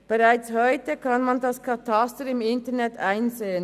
Bereits heute kann man das Kataster im Internet einsehen.